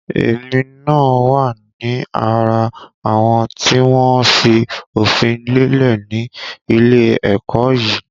Èmi náà wá ní ara àwọn tí wọn fi òfin lélẹ̀ ni ilé ẹ̀kọ́ yìí